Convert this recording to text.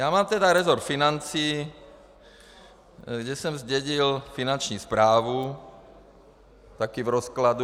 Já mám tedy resort financí, kde jsem zdědil Finanční správu také v rozkladu.